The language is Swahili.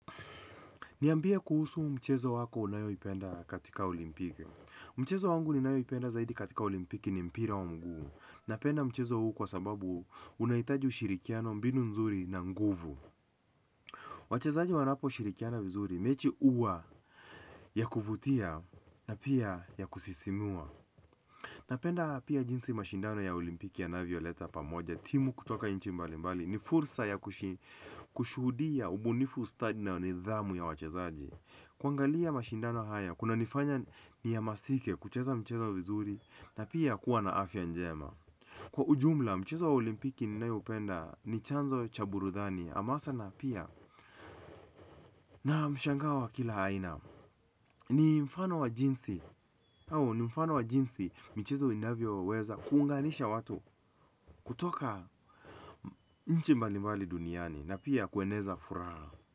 Niambie kuhusu mchezo wako unayoipenda katika olimpiki. Mchezo wangu ninayoipenda zaidi katika olimpiki ni mpira wa mguu. Napenda mchezo huu kwasababu, unahitaji ushirikiano, mbinu nzuri na nguvu wachezaji wanapo shirikiana vizuri mechi huwa ya kuvutia na pia ya kusisimua. Napenda pia jinsi mashindano ya olimpiki yanavyo leta pamoja. Timu kutoka nchi mbali mbali ni fursa ya kushuhudia ubunifu stadi na nidhamu ya wachezaji. Kuangalia mashindano haya, kuna nifanya ni ya hamasike kucheza mchezo vizuri na pia kuwa na afya njema. Kwa ujumla mchezo wa olimpiki ninaoupenda ni chanzo cha burudhani amasa na pia na mshangao wa kila haina. Nii mfano wa jinsi au ni mfano wa jinsi michezo inavyoweza kuunganisha watu kutoka. Nchi mbalimbali duniani na pia kueneza furaha.